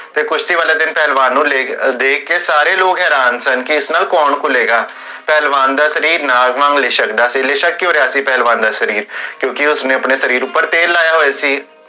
ਤੇ ਕੁਸ਼ਤੀ ਵਾਲੇ ਦਿਨ ਪਹਲਵਾਨ ਨੂੰ ਦੇਖ ਕੇ ਸਾਰੇ ਲੋਗ ਹੈਰਾਨ ਸਨ ਕੀ ਇਸ ਨਾਲ ਕੋੰ ਘੁਲੇਗਾ ਪਹਲਵਾਨ ਦਾ ਸ਼ਰੀਰ ਨਾਗ ਵਾਂਗੂ ਲਿਸ਼ਕਦਾ ਸੀ ਲਿਸ਼ਕ ਕਿਓਂ ਰਿਹਾ ਸੀ ਪਹਲਵਾਨ ਦਾ ਸ਼ਰੀਰ? ਕਿਓਂਕਿ ਉਸਨੇ ਆਪਣੇ ਸ਼ਰੀਰ ਉਪਰ ਤੇਲ ਲਾਇਆ ਹੋਇਆ ਸੀ